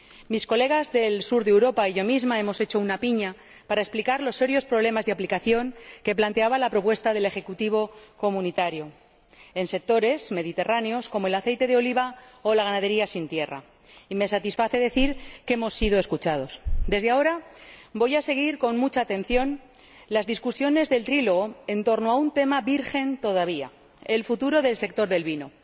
Mis colegas del sur de Europa y yo misma hicimos piña para explicar los serios problemas de aplicación que planteaba la propuesta del Ejecutivo comunitario en sectores mediterráneos como el del aceite de oliva o la ganadería sin tierra, y me satisface decir que hemos sido escuchados. Desde ahora, voy a seguir con mucha atención los debates del diálogo tripartito en torno a un tema virgen todavía el futuro del sector del vino.